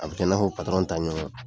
A bi kɛ n'a fɔ, ta ɲɔgɔn